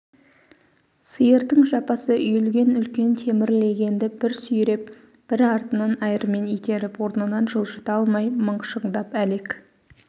сиырдың жапасы үйілген үлкен темір легенді бір сүйреп бір артынан айырмен итеріп орнынан жылжыта алмай мықшыңдап әлек